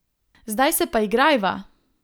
Zdaj se pa igrajva!